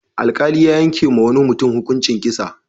Alƙali ya yankewa wani mutum hukuncin kisa.